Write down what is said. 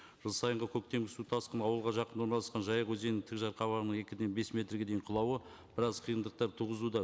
жыл сайынғы көктем су тасқыны ауылға жақын орналасқан жайық өзенінің екіден бес метрге дейін құлауы біраз қиындықтар туғызуда